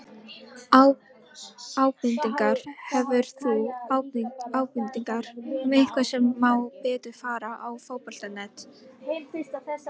Ábendingar: Hefur þú ábendingar um eitthvað sem má betur fara á Fótbolta.net?